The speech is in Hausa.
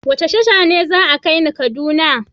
Wace tasha ce za a kai ni kaduna?